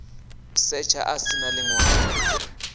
setsha a si na ḽiṅwalo